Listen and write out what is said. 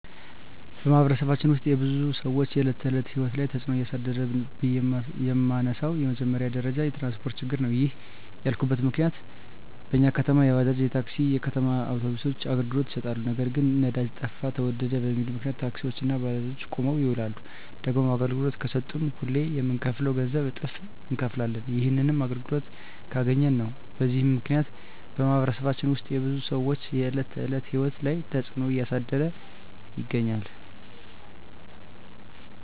በማኅበረሰባችን ውስጥ የብዙ ሰዎች የዕለት ተዕለት ሕይወት ላይ ትጽእኖ እያሳደረ ነው ብዬ የመነሣው በመጀመሪያ ደረጃ የትራንስፓርት ችግር ነው። ይህንን ያልኩበት ዋናው ምክንያት በኛ ከተማ የባጃጅ፣ የታክሲ፣ የከተማ አውቶቢሶች አገልግሎት ይሠጣሉ። ነገር ግን ነዳጅ ጠፋ ተወደደ በሚል ምክንያት ታክሲዎች እና ባጃጆች ቁመው ይውላሉ። ደግሞም አገልግሎት ከሠጡም ሁሌ ከምንከፍለው ገንዘብ እጥፍ እነከፍላለን። ይህንንም አገልግሎቱን ካገኘን ነው። በዚህ ምክንያት በማኅበረሰባችን ውስጥ የብዙ ሰዎች የዕለት ተዕለት ሕይወት ላይ ትጽእኖ እያሳደረ ይገኛል።